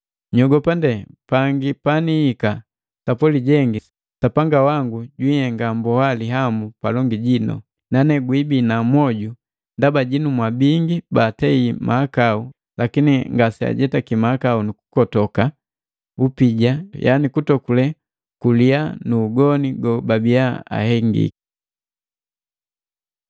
Nyogopa ndee pangi panihika sapwali jengi Sapanga wangu jwiinhenga mboa lihamu palongi jinu, nane gwibina mwoju ndaba jinu mwa bingi batei mahakau lakini ngaseajetaki nukukotoka upija yani kutokule kuliya nu ugoni gobabiya ahengiki.